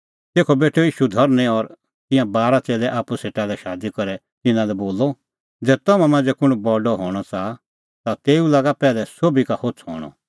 तेखअ बेठअ ईशू धरनीं और तिंयां बारा च़ेल्लै आप्पू सेटा लै शादी करै तिन्नां लै बोलअ ज़ै तम्हां मांझ़ै कुंण बडअ हणअ च़ाहा ता तेऊ लागा पैहलै सोभी का होछ़अ हणअ